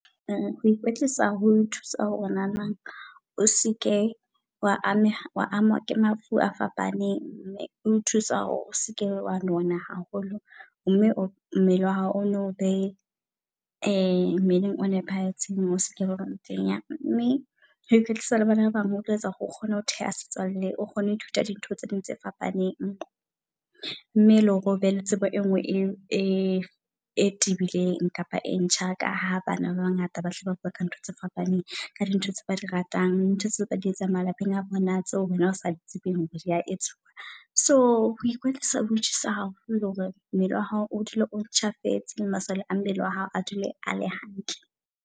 Ho ikwetlisa ho thusa hore na nang o seke wa ameha, wa ama ke mafu a fapaneng mme o thusa hore o seke wa nona haholo. Mme mmele wa hao o nne obe e mmeleng o nepahetseng ose kebe wa eba motenya. Mme kea kwetlisa le bana ba bang o tlo etsa hore o kgone ho theha setswalle, o kgone hoe thuta di ntho tse ding tse fapaneng. Mme ele hore o be le tsebo e ngwe e e tebileng kapa e ntjha. Ka ha bana ba bangata ba tle ba bua ka ntho tse fapaneng ka di ntho tse ba di ratang. Ntho tseo ba di e tsang malapeng a bona tseo wena o sa tsebeng hore dia etsuwa. So ho ikwetlisa ho thusa haholo hore mmele wa hao o dule o ntjhafetse le masole a mmele oa hao a dule a le hantle.